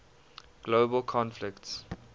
global conflicts